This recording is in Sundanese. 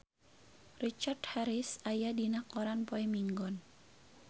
Richard Harris aya dina koran poe Minggon